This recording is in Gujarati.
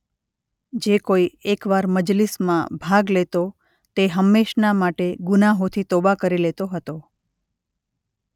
જે કોઈ એકવાર મજલિસમાં ભાગ લેતો તે હમેંશના માટે ગુનાહોથી તોબા કરી લેતો હતો.